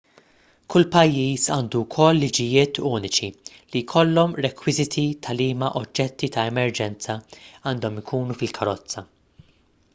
kull pajjiż għandu wkoll liġijiet uniċi li jkollhom rekwiżiti ta' liema oġġetti ta' emerġenza għandhom ikunu fil-karozza